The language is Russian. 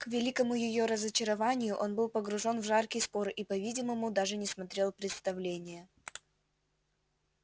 к великому её разочарованию он был погружен в жаркий спор и по-видимому даже не смотрел представления